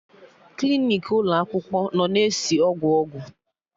Klinik ụlọ akwụkwọ nọ na-esi ọgwụ ọgwụ